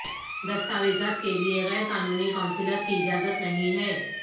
دستاویزات کے لئے غیر قانونی قونصلر کی اجازت نہیں ہے